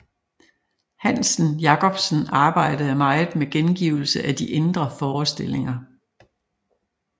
Hansen Jacobsen arbejdede meget med gengivelse af de indre forestillinger